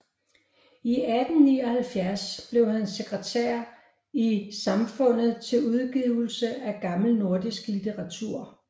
I 1879 blev han sekretær i Samfundet til Udgivelse af gammel nordisk Litteratur